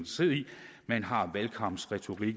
man har